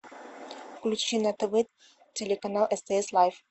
включи на тв телеканал стс лайф